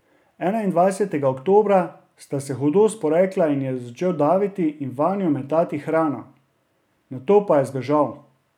Enaindvajsetega oktobra sta se hudo sporekla in začel jo je daviti in vanjo metati hrano, nato pa je zbežal.